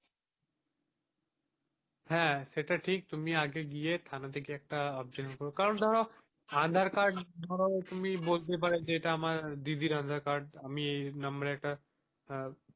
হাঁ সেটা ঠিক তুমি আগে গিয়ে থানা তে গিয়ে একটা objection করো, কারণ ধরো আধার কার্ড তুমি বলতে পারো যে যে এটা আমার দিদির আধার কার্ড আমি এই এই number এ একটা,